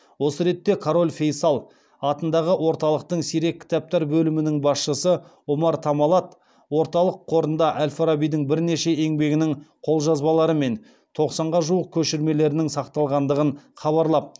осы ретте король фейсал атындағы орталықтың сирек кітаптар бөлімінің басшысы омар тамалат орталық қорында әл фарабидің бірнеше еңбегінің қолжазбалары мен тоқсанға жуық көшірмелерінің сақталғандығын хабарлап